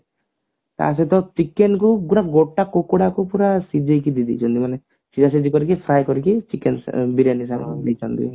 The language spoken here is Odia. ତାସହିତ chicken କୁ ପୁରା ଗୋଟା କୁକୁଡା କୁ ପୁରା ସିଝେଇକି ଦେଇ ଦେଇଛନ୍ତି ମାନେ ସିଝା ସିଝି କରିକି fry କରିକି chicken ବିରଯାନୀ ସହ ଦେଇଛନ୍ତି